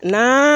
Na